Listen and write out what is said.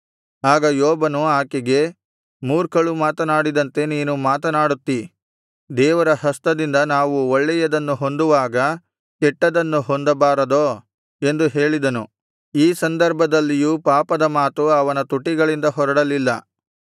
ಆಗ ಯೋಬನು ಆಕೆಗೆ ಮೂರ್ಖಳು ಮಾತನಾಡಿದಂತೆ ನೀನು ಮಾತನಾಡುತ್ತಿ ದೇವರ ಹಸ್ತದಿಂದ ನಾವು ಒಳ್ಳೆಯದನ್ನು ಹೊಂದುವಾಗ ಕೆಟ್ಟದ್ದನ್ನು ಹೊಂದಬಾರದೋ ಎಂದು ಹೇಳಿದನು ಈ ಸಂದರ್ಭದಲ್ಲಿಯೂ ಪಾಪದ ಮಾತು ಅವನ ತುಟಿಗಳಿಂದ ಹೊರಡಲಿಲ್ಲ